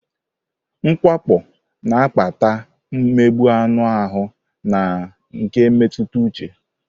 Mwakpo na-akpata mgbu anụ ahụ na nke mmetụta uche.